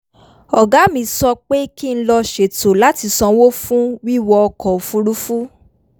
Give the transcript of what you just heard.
ọ̀gá mi sọ pé kí n lọ ṣètò láti sanwó fún wíwọ ọkọ̀ òfuurufú